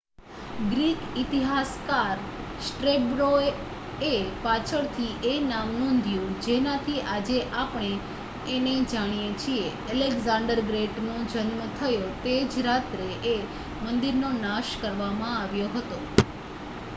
Greek ઇતિહાસકાર સ્ટ્રેબોએ પાછળથી એ નામ નોંધ્યું જેનાથી આજે આપણે એને જાણીએ છીએ એલેક્ઝાંડર ગ્રેટનો જન્મ થયો તે જ રાત્રે એ મંદિરનો નાશ કરવામાં આવ્યો હતો